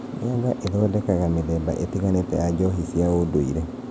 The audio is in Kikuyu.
Mĩanga ĩthondekaga mĩthemba ĩtĩganĩte ya njohi cia ũndũire